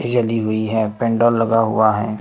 बत्ती जली हुई है पेंडोल लगा हुआ है।